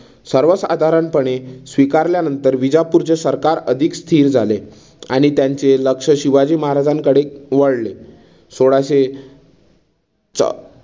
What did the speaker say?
सर्व साधारणपणे स्वीकारल्यानंतर विजापूरचे सरकार अधिक स्थिर झाले आणि त्यांचे लक्ष शिवाजी महाराजांकडे वळले. सोळाशे च